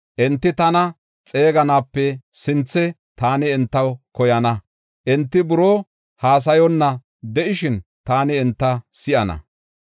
Enti tana xeeganaape sinthe, taani entaw koyana; enti buroo haasayonna de7ishin taani enta si7ana.